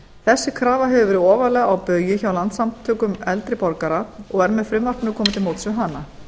þessi krafa hefur verið ofarlega á baugi hjá landssamtökum eldri borgara og er með frumvarpinu komið til móts við hana